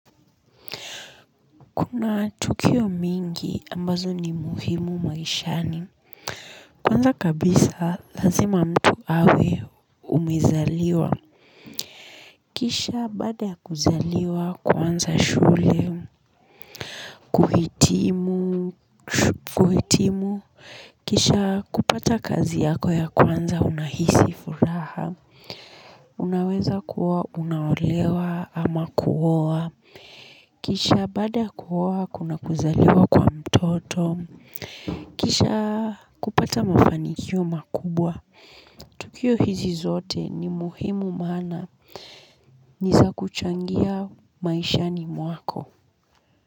Kuna tukio mingi ambazo ni muhimu maishani. Kwanza kabisa lazima mtu awe umezaliwa. Kisha baada ya kuzaliwa, kuanza shule, kuhitimu, kisha kupata kazi yako ya kwanza unahisi furaha. Unaweza kuwa unaolewa ama kuaoa. Kisha baada ya kuoa kuna kuzaliwa kwa mtoto kisha kupata mafanikio makubwa. Tukio hizi zote ni muhimu maana ni za kuchangia maishani mwako.